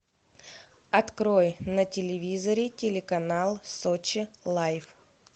открой на телевизоре телеканал сочи лайф